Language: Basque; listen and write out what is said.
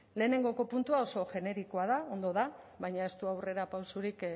lehenengoko puntua oso generikoa da ondo da baina ez du aurrera pausurik